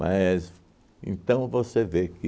Mas, então, você vê que